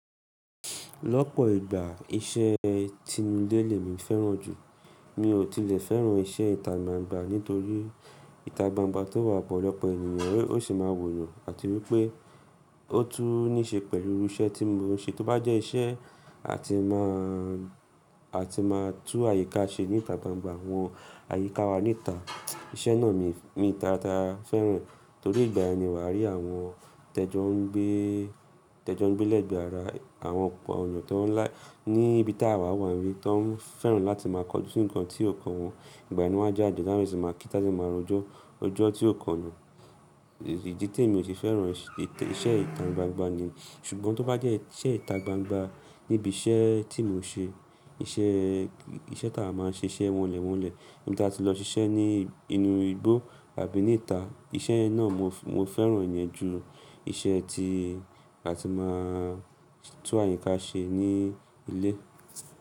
Lọ́pọ̀ ìgbà iṣẹ́ tinu lé lè mi fẹ́ràn jù, mi ò tilẹ̀ fẹ́ràn iṣẹ́ ìta gbangba nítorí ìta gbangba tó wà bọ̀ lọ́pọ̀ ènìyàn, ó sì máa wòyàn àti wípé ó tún ní ṣe pẹ̀lú irú iṣẹ́ tí mo ń ṣe, tó bá jẹ́ iṣẹ́ a ti máa, a ti máa tú àyíká ṣe ní ìta gbangba, àwọn àyíká wa ní ìta. Iṣẹ́ náà mi mi tara fẹ́ràn torí ìgbà yen ni wa rí àwọn tẹ́jọ́ ń gbé, tẹ́jọ́ ń gbé lẹ́gbẹ̀ẹ́ ara àwọn ọ̀pọ̀ ènìyàn tó ń lá ní ibi tí àwa wà nbi, tó ń fẹ́ràn láti máa kọjú si nǹkan tí ò kan wọn. Ìgbà yen wá jáde tan bere si máa kí tá sì máa rojọ́ ọjọ́ tí ò kanà. Ìdí tí mi ò ti fẹ́ràn iṣẹ́ ìta gbangba ni. Ṣùgbọ́n tó bá jẹ́ iṣẹ́ ìta gbangba níbi iṣẹ́ tí mo ń ṣe, iṣẹ́, iṣẹ́ táa máa ń ṣe iṣẹ́ wọnlẹ̀ wọnlẹ̀ nígbà tí a ti lọ ṣiṣẹ́ ní inú igbó àbí ní ìta, iṣẹ́ náà mo, mo fẹ́ràn ìyẹn jù iṣẹ́ tí a ti máa tú àyíká ṣe ní ilé.